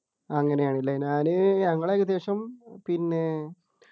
അങ്ങനെയാണ് അല്ലെ ഞാന് ഞങ്ങൾ ഏകദേശം പിന്നെ